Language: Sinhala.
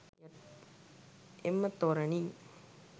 එම තොරණින්